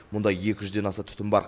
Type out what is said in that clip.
мұнда екі жүзден аса түтін бар